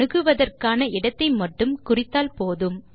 அணுகுவதற்கான இடத்தை மட்டும் குறித்தால் போதும்